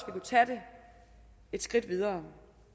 kunne tage det et skridt videre